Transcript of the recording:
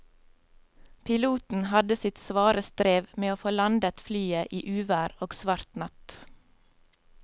Piloten hadde sitt svare strev med å få landet flyet i uvær og svart natt.